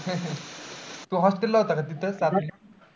तू hostel ला होता का तिथं?